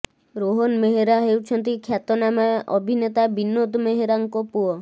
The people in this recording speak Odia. ରୋହନ୍ ମେହେରା ହେଉଛନ୍ତି ଖ୍ୟାତନାମା ଅଭିନେତା ବିନୋଦ ମେହେରାଙ୍କୁ ପୁଅ